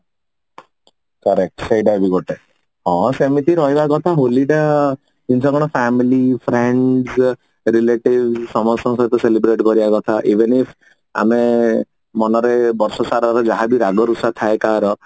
correct ସେଇଟା ବି ଗୋଟେ ହଁ ସେମିତି ରହିବା କଥା ହୋଲି ଟା ହଉଛି କଣ family friends relatives ସମସ୍ତଙ୍କୁ celebrate କରିବା କଥା even if ଆମେ ମନରେ ବର୍ଷସାରାର ଯାହାବି ରାଗ ରୁଷା ଥାଏ କାହାର